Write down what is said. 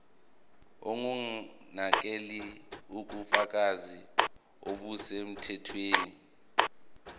ongumnakekeli ubufakazi obusemthethweni